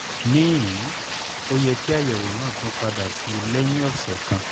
níhìn-ín ó yẹ kí àyẹ̀wò náà tún padà sí i lẹ́yìn ọ̀sẹ̀ kan